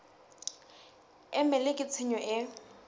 e mele ke tshenyo e